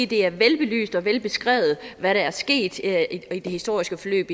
det er velbelyst og velbeskrevet hvad der er sket i det historiske forløb